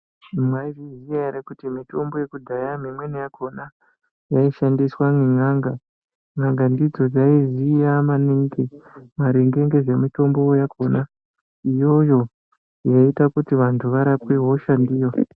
Maizviziva here kuti mitombo yekudhaya imweni yakona yaishandiswa nen'anga n'anga ndidzo dzaiziya maningi maringe nezvemitombo yakona iyoyo yaita kuti vantu varapwe hosha ndiyo.